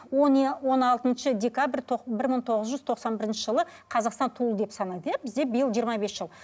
он он алтыншы декабрь бір мың тоғыз жүз тоқсан бірінші жылы қазақстан туылды деп санайды иә бізде биыл жиырма бес жыл